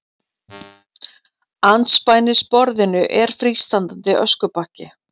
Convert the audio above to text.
Andspænis borðinu er frístandandi öskubakki.